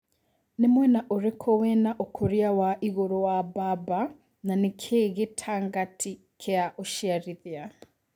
nĩ mwena ũrikũ wĩna ũkũria wa igũrũ wa Bamba na nĩ kĩ gĩtangati Kia ũciarithia